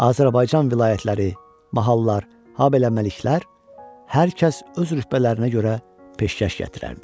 Azərbaycan vilayətləri, mahalllar, habelə məliklər hər kəs öz rütbələrinə görə peşkəş gətirərdi.